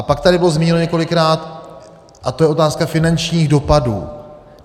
A pak tady bylo zmíněno několikrát - a to je otázka finančních dopadů.